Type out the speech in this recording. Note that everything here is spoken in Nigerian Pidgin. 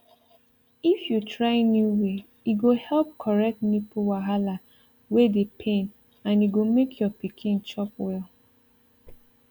if you try new way e go help correct nipple wahala wey dey pain and e go make your pikin chop well